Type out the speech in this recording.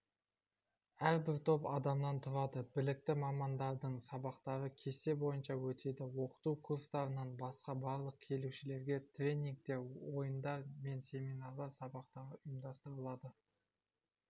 әрбір топ адамнан тұрады білікті мамандардың сабақтары кесте бойынша өтеді оқыту курстарынан басқа барлық келушілерге тренингтер ойындар мен семинар сабақтар ұйымдастырылады